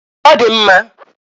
Ọ dị mma.